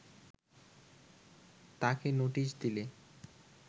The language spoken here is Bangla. তাকে নোটিশ দিলে